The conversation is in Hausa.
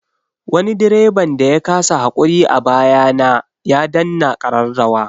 Wani direban da ya kasa haƙuri a baya na ya danna ƙararrawa.